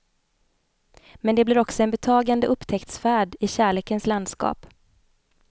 Men det blir också en betagande upptäcktsfärd i kärlekens landskap.